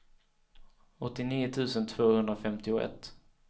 åttionio tusen tvåhundrafemtioett